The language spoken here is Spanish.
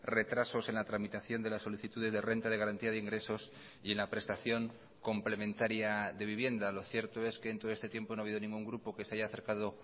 retrasos en la tramitación de las solicitudes de renta de garantía de ingresos y en la prestación complementaria de vivienda lo cierto es que en todo este tiempo no ha habido ningún grupo que se haya acercado